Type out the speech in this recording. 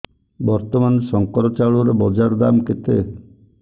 ବର୍ତ୍ତମାନ ଶଙ୍କର ଚାଉଳର ବଜାର ଦାମ୍ କେତେ